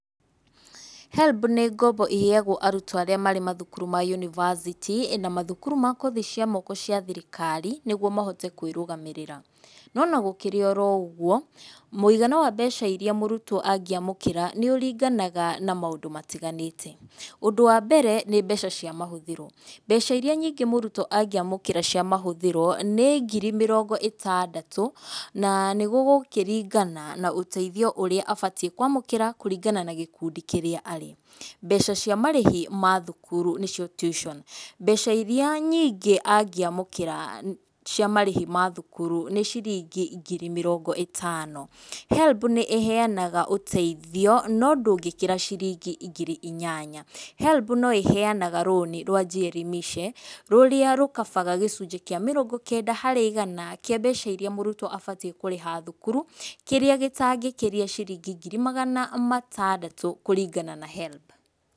HELB nĩ ngombo ĩheyagwo arutwo arĩa marĩ macukuru ma yunibacĩtĩ, na mathukuru ma kothi cia moko cia thirikari, nĩguo mahote kwĩrũgamĩrĩra, nona gũkĩrĩ oro ũguo, mũigana wa mbeca iria mũrutwo angĩamũkĩra nĩ ũringanaga na maũndũ matiganĩte, ũndũ wa mbere nĩ mbeca cia mahũthĩro, mbeca iria nyingĩ mũrutwo angĩamũkĩra cia mahũthĩro nĩ ngiri mĩrongo ĩtandatũ, na nĩ gũgĩkĩringana na ũteithio ũrĩa abatiĩ kwamũkĩra kũringana na gĩkundi kĩrĩa arĩ, mbeca cia marĩhi ma thukuru nĩcio tuition mbeca iria nyingĩ angamũkĩra cia marĩhi ma thukuru nĩ ciringi ngiri mĩrongo ĩtano, HELB nĩ ĩheyanaga ũteithio no ndũkĩkĩra ciringi ngiri inyanya, HELB no ĩheyanaga loan rwa Jielimishe rũrĩa rũkabaga gĩcunjĩ kĩa mĩrongo kenda harĩ igana kĩa mbeca iria mũrutwo abatiĩ kũrĩha thukuru, kĩrĩa gĩtangĩkĩria ciringi ngiri magana matandatũ kũringana na HELB.